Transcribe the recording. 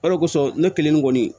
Hali o kosɔn ne kelen ne kɔni